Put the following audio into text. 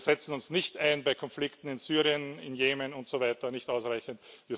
auslösen. Wir setzen uns nicht ausreichend bei Konflikten in Syrien, im Jemen und